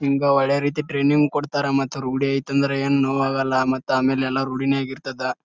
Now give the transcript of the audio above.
ನಿಮ್ಗ ಒಳ್ಳೆ ರೀತಿ ಟ್ರೇನಿಂಗ ಕೊಡ್ತಾರಾ ಮತ್ ರೂಡಿ ಆಯ್ತ್ ಅಂದ್ರೆ ಏನ್ ನೋವಾಗಲ್ಲ ಮತ್ತೆ ಎಲ್ಲ ರೂಡಿನೇ ಆಗಿರ್ತದ.